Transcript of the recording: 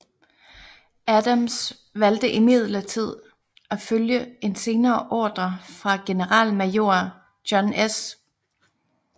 Adams valgte imidlertid at følge en senere ordre fra generalmajor John S